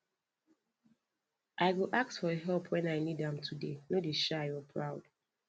i go ask for help when i need am today no dey shy or proud